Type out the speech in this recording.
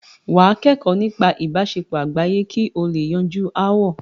wà á kẹ́kọ̀ọ́ nípa ìbáṣepọ̀ àgbáyé kí o lè yanjú ááwọ̀.